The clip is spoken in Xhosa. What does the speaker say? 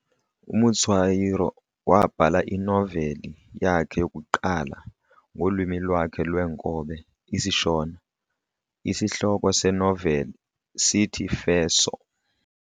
UMutswairo waabhala inoveli yakhe yokuqala ngolwimi lwakhe lweenkobe isiShona, Isihloko senoveli sithi 'Feso."